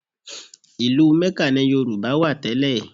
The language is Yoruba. Ìlú Ḿẹ́kà ni Yorùbá wà tẹ́lẹ̀